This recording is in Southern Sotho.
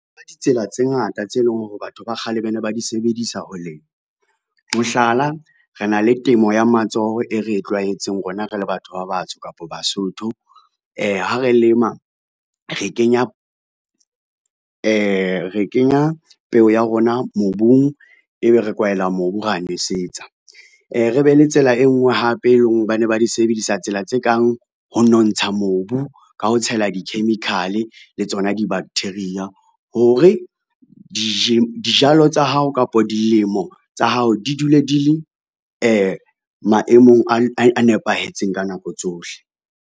Ditsela tse ngata tse leng hore batho ba kgale ba ne ba di sebedisa ho lema. Mohlala, re na le temo ya matsoho e re e tlwaetseng rona re le batho ba batsho kapa Basotho. Ha re lema re kenya peo ya rona mobung, ebe re kwaela mobu, ra nosetsa. Re re be le tsela e ngwe hape e leng ba ne ba di sebedisa tsela tse kang, ho nontsha mobu ka ho tshela di-chemical le tsona di-bacteria hore, dijalo tsa hao kapa dilemo tsa hao di dule di le maemong a nepahetseng ka nako tsohle.